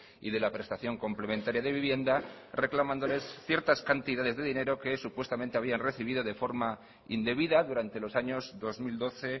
y de la prestación complementaria de vivienda reclamándoles ciertas cantidades de dinero que supuestamente habían recibido de forma indebida durante los años dos mil doce